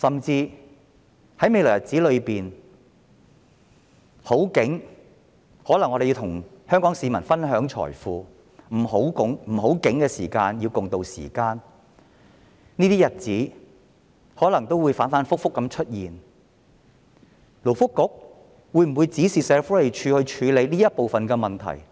在未來的日子，當香港經濟蓬勃時，政府可以與香港市民分享財富；當香港經濟蕭條時，大家要共渡時艱；這些日子可能會不斷反覆出現，勞工及福利局會否指示社署處理這部分的問題？